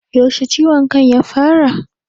Yaushe ciwon kan ya fara?